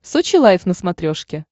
сочи лайв на смотрешке